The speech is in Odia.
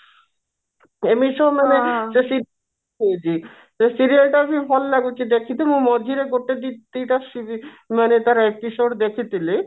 ଏମିତି ସବୁ ମାନେ ସେ serial ରେ ଦେଖଉଛି ସେ serial ଟା ବି ଭଲ ଲାଗୁଛି ଦେଖିଥିବୁ ମଝିରେ ଗୋଟେ ଦିଟା ମାନେ ତାର episode ଦେଖିଥିଲି